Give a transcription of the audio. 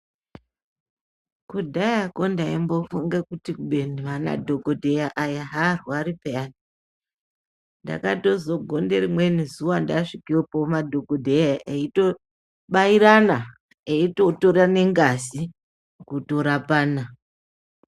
Kudhayako ndaimbofunge kuti kubeni vanadhogodheya aya aarwari peyani. Ndakazogonda rimweni zuwa ndasvikepo madhogodheya eitobairana eitotorane ngazi kutorapana.